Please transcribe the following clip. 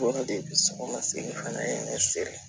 Yɔrɔ de sago ma se ka na ye ne feere